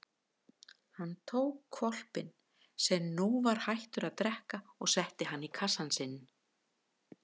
Hann tók hvolpinn sem nú var hættur að drekka og setti hann í kassann sinn.